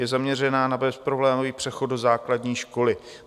Je zaměřena na bezproblémový přechod do základní školy.